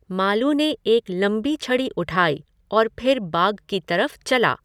मालू ने एक लम्बी छड़ी उठाई और फिर बाग की तऱफ चला।